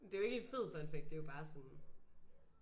Det er jo ikke et fed fun fact det er jo bare sådan